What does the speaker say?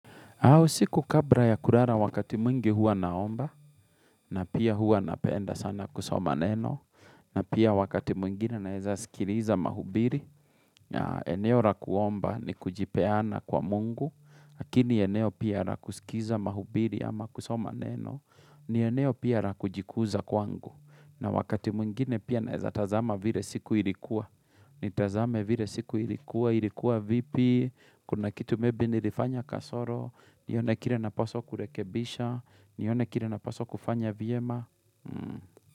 Usiku kabra ya kurara wakati mwingi hua naomba, na pia hua napenda sana kusoma neno, na pia wakati mwingine naeza sikiriza mahubiri, eneo rakuomba ni kujipeana kwa mungu, lakini eneo pia rakusikiza mahubiri ama kusoma neno, ni eneo pia ra kujikuza kwangu, na wakati mwingine pia naweza tazama vire siku ilikuwa, ni tazame vile siku ilikuwa, ilikuwa vipi, kuna kitu maybe nilifanya kasoro, nione kire napaswa kurekebisha, niyone kire napaswa kufanya vyema.